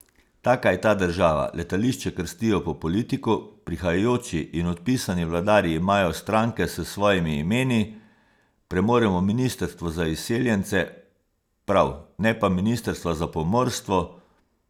Taka je ta država, letališče krstijo po politiku, prihajajoči in odpisani vladarji imajo stranke s svojimi imeni, premoremo ministrstvo za izseljence, prav, ne pa ministrstva za pomorstvo.